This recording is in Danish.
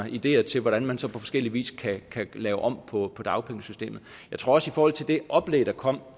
ideer til hvordan man så på forskellig vis kan lave om på dagpengesystemet jeg tror også i forhold til det oplæg der kom